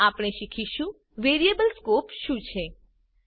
હવે આપણે શીખીશું વેરિએબલ સ્કોપ શું છે